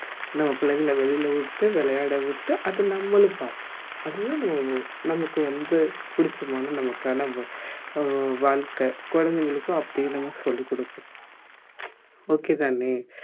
நம்ம பிள்ளைங்கள வெளியில விட்டு விளையாட விட்டு அது நம்மளும் பார்ப்போம் அது தான் நம்ம நமக்கு வந்து பிடிச்சமான நமக்கான வ அஹ் வாழ்க்கை குழந்தைகளுக்கும் அப்படியே நம்ம சொல்லிக் குடுப்போம் okay தானே